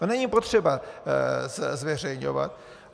To není potřeba zveřejňovat.